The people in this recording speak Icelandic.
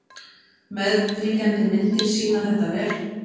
Meðfylgjandi myndir sýna þetta vel.